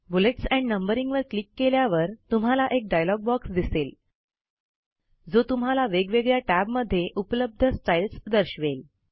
bullets and numbering वर click केल्यावर तुम्हाला एक डायलॉग बॉक्स दिसेल जो तुम्हाला वेगवेगळ्या टॅबमध्ये उपलब्ध स्टाईल्स दर्शवेल